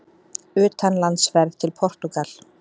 UTANLANDSFERÐ TIL PORTÚGAL